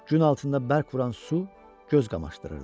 Gün altında bərq vuran su göz qamaşdırırdı.